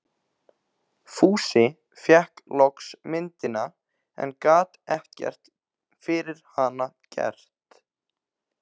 Fúsi fékk loks myndina, en gat ekkert fyrir hana gert.